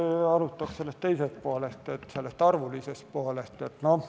Ma alustan sellest teisest, arvulisest poolest.